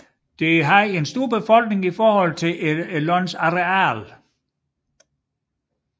Det havde en stor befolkning i forhold til landets areal